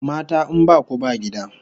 Mata in baku ba gida!